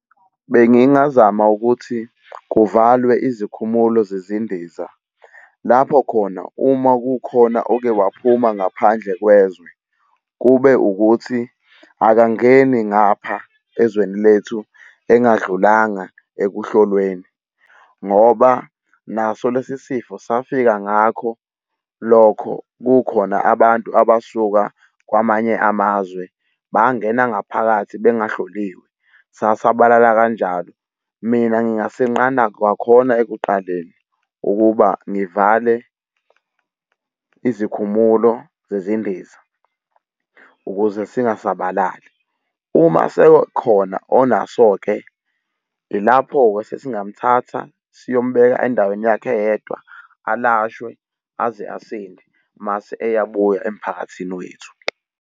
Bengingazama ukuthi kuvalwe izikhumulo zezindiza lapho khona uma kukhona oke waphuma ngaphandle kwezwe, kube ukuthi akangeni ngapha ezweni lethu engadlulanga ekuhlolweni, ngoba naso lesi sifo safika ngakho lokho kukhona abantu abasuka kwamanye amazwe bangena ngaphakathi bengahloliwe, sasabalala kanjalo. Mina ngingasenqanda kwakhona ekuqaleni ukuba ngivale izikhumulo zezindiza ukuze singasabalali uma sekhona onaso-ke ilapho-ke sesingamthatha siyombeka endaweni yakhe eyedwa alashwe aze asinde, mase eyabuya emphakathini wethu.